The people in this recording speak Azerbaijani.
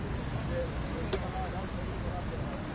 Deməli yanacaq doldurma məntəqəsi də burdadır.